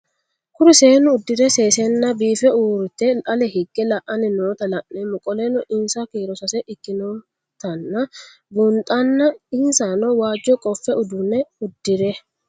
Kuri seenu udire sesena biife urite ale hige la'ani noota la'nemo qoleno insa kiiro sase ikinotana bunxana insano waajo qofe udune udire?